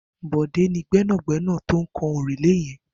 Bode ni gbẹnágbẹná tó kàn órúlé yèn